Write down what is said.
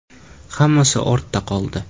Hammasi ortda qoldi.